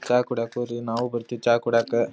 ಚಾ ಕುಡಿಯಾಕ್ ಹೋರಿ ನಾವು ಬರ್ತೀವಿ ಚಾ ಕುಡಿಯಕ.